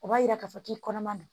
O b'a yira k'a fɔ k'i kɔnɔma don